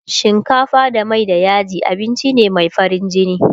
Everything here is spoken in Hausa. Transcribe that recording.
shinkafa da Mai da yaji abinci ne Mai farin jini